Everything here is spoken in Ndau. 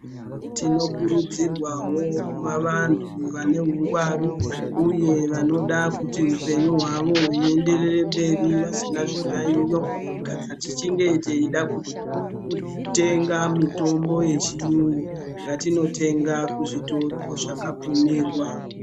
Tinokurudzirwa wo kuvantu vaneuhwangwaru uye vanoda kuti hupenyu hwavo kuenderere mberi vasina zviyayiyo kana tichinge teida kute ga mitombo yechiyungu ngatinotenga kuzvitoro zvakabvumirwa.